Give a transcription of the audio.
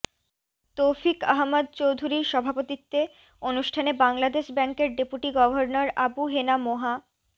তৌফিক আহমদ চৌধূরীর সভাপতিত্বে অনুষ্ঠানে বাংলাদেশ ব্যাংকের ডেপুটি গভর্নর আবু হেনা মোহা